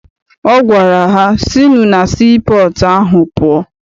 Ọ gwara ha, sinụ na sii pọọtụ ahụ pụọ!